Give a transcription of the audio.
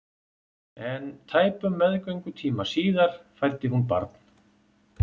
En tæpum meðgöngutíma síðar fæddi hún barn.